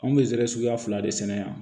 Anw bɛ zɛrɛ suguya fila de sɛnɛ yan